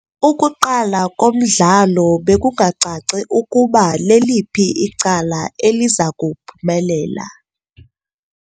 Ukuqala komdlalo bekungacaci ukuba leliphi icala eliza kuphumelela.